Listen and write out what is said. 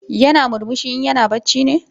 Yana murmushi in yana bacci ne?